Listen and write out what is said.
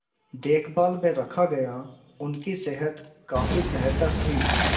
देखभाल में रखा गया उनकी सेहत काफी बेहतर थी